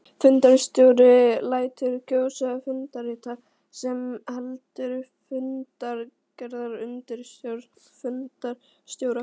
Fundarstjóri lætur kjósa fundarritara sem heldur fundagerðarbók undir stjórn fundarstjóra.